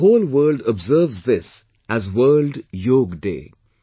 The whole world observes this as World Yoga Day